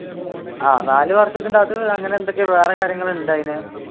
ആഹ് നാല് വർഷത്തിന്റെ അത് അങ്ങനെയെന്തെക്കെയോ വേറെ കാര്യാങ്ങളുണ്ട് അതിന്